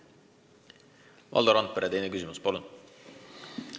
Valdo Randpere, teine küsimus, palun!